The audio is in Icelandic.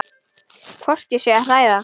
Hvort ég sé að hræða.